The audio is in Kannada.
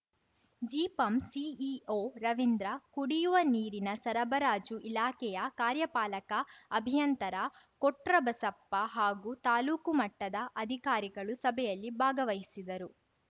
ಜಿಪಂ ಸಿಇಒ ರವೀಂದ್ರ ಕುಡಿಯುವ ನೀರಿನ ಸರಬರಾಜು ಇಲಾಖೆಯ ಕಾರ್ಯಪಾಲಕ ಅಭಿಯಂತರ ಕೊಟ್ರಬಸಪ್ಪ ಹಾಗೂ ತಾಲೂಕು ಮಟ್ಟದ ಅಧಿಕಾರಿಗಳು ಸಭೆಯಲ್ಲಿ ಭಾಗವಹಿಸಿದರು